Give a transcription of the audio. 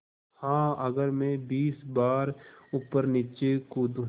हाँ अगर मैं बीस बार ऊपरनीचे कूदूँ